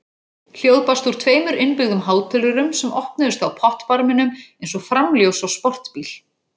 Hljóð barst úr tveimur innbyggðum hátölurum sem opnuðust á pottbarminum eins og framljós á sportbíl.